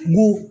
Mun